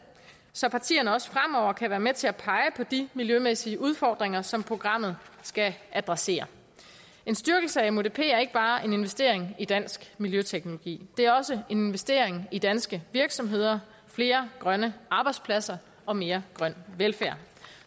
så partierne også fremover kan være med til at pege på de miljømæssige udfordringer som programmet skal adressere en styrkelse af mudp er ikke bare en investering i dansk miljøteknologi det er også en investering i danske virksomheder flere grønne arbejdspladser og mere grøn velfærd